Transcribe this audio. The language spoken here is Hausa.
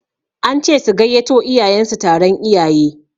An ce su gayyato iyayen su taron iyaye